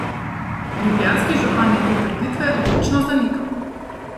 Ljubljanski župan je te trditve odločno zanikal.